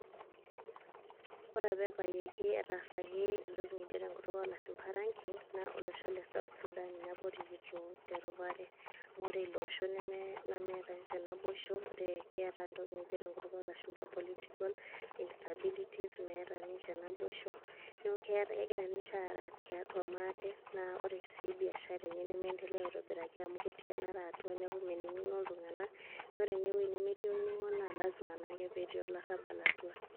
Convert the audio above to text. Ore apa ebayieki etaasaki entoki nikijo tenkutuk olashumpa ranking ,na olosho le South Sudan ninye apa orikito teropare. Ore iloosho nemeeta nche naboisho, keeta entoki nikijo tenkutuk olashumpa political instabilities ,meeta ninche naboisho. Neeku kegira ninche aara tiatua maate na ore si biashara enye nemeendelea aitobiraki amu ketii enara atua neeku mening'o iltung'anak. Na ore enewuei nemetii olning'o na lasima naake petii olarrabal atua.